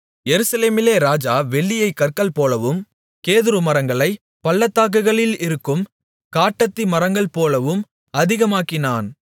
எருசலேமிலே ராஜா வெள்ளியைக் கற்கள் போலவும் கேதுருமரங்களைப் பள்ளத்தாக்குகளில் இருக்கும் காட்டத்திமரங்கள்போலவும் அதிகமாக்கினான்